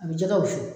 A bɛ jɛgɛ wusu